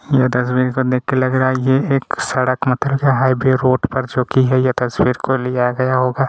ये डस्टबिन को देख के लग रहा हैं की ये एक सड़क मे चल रहा हैं मैन रोड पर जो की है ये तसवीर को लिया गया होगा--